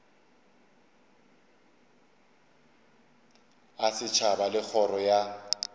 a setšhaba le kgoro ya